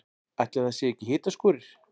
Ætli að það séu ekki hitaskúrir.